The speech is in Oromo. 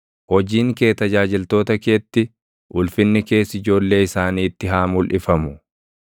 Hojiin kee tajaajiltoota keetti, ulfinni kees ijoollee isaaniitti haa mulʼifamu.